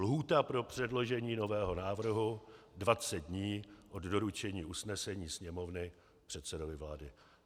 Lhůta pro předložení nového návrhu 20 dní od doručení usnesení Sněmovny předsedovi vlády.